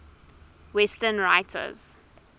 western writers